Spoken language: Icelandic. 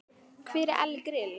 Hver er Elli Grill?